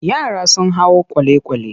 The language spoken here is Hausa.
Yara sun hau kwale-kwale.